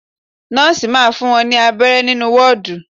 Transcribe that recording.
Nọ́ọ̀si máa fún wọn ní abẹrẹ nínú wọ́ọ́dù.